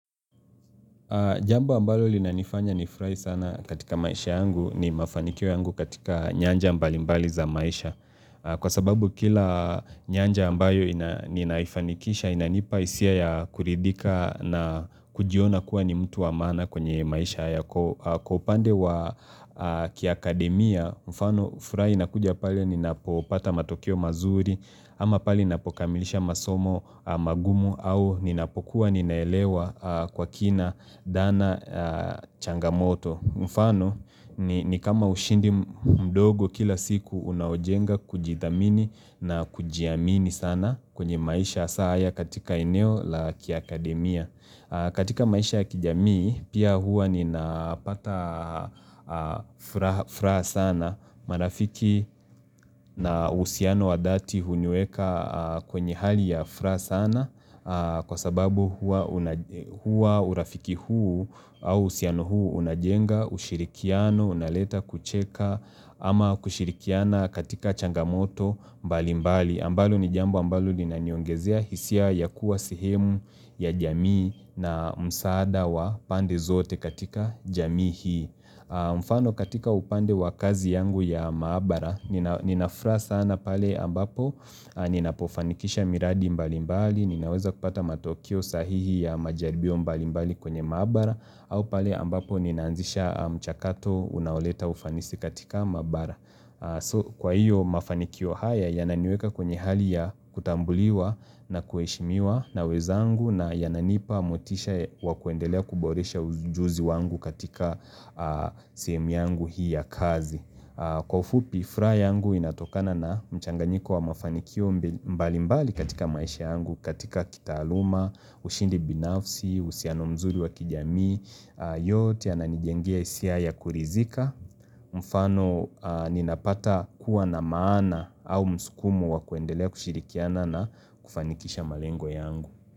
Jambo ambalo linanifanya nifurahi sana katika maisha yangu ni mafanikio yangu katika nyanja mbali mbali za maisha. Kwa sababu kila nyanja ambayo ninaifanikisha inanipa hisia ya kuridhika na kujiona kuwa ni mtu wa maana kwenye maisha yako. Kwa upande wa kiakademia, mfano, furaha inakuja pale ninapopata matokeo mazuri, ama pale ninapokamilisha masomo magumu au ninapokuwa ninaelewa kwa kina dhana changamoto. Mfano, ni kama ushindi mdogo kila siku unaojenga kujithamini na kujiamini sana kwenye maisha hasa haya katika eneo la kiakademia. Katika maisha ya kijamii pia huwa ninapata furaha sana marafiki na uhusiano wa dhati hunyoeka kwenye hali ya furaha sana kwa sababu huwa huwa urafiki huu au uhusiano huu unajenga ushirikiano, unaleta kucheka ama kushirikiana katika changamoto mbali mbali. Ambalo ni jambo ambalo linaniongezea hisia ya kuwa sehemu ya jamii na msaada wa pande zote katika jamii hii. Mfano katika upande wa kazi yangu ya maabara, nina furaha sana pale ambapo, ninapofanikisha miradi mbali mbali, ninaweza kupata matokeo sahihi ya majaribio mbali mbali kwenye maabara, au pale ambapo ninaanzisha mchakato unaoleta ufanisi katika maabara. So kwa hiyo mafanikio haya yananiweka kwenye hali ya kutambuliwa na kuheshimiwa na wenzangu na yananipa motisha wa kuendelea kuboresha ujuzi wangu katika sehemu yangu hii ya kazi. Kwa ufupi, furaha yangu inatokana na mchanganyiko wa mafanikio mbali mbali katika maisha yangu, katika kitaaluma, ushindi binafsi, uhusiano mzuri wa kijamii, yote yananijengia hisia ya kuridhika. Mfano, ninapata kuwa na maana au msukumo wa kuendelea kushirikiana na kufanikisha malengo yangu.